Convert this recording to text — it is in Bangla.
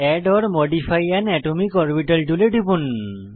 add or modify an atomic orbital টুলে টিপুন